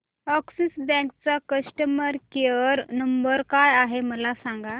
Axis bank चा customer care number काय आहे मला सांगा